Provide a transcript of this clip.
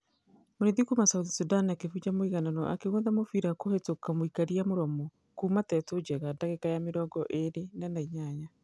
.......mũrĩithi kuuma south sudan akĩfuja mũiganano akĩgũtha mũbira kũhĩtũka mũikaria mũromo kuuma tetu njenga dagĩka ya mĩrongo ĩrĩ na na inyanya.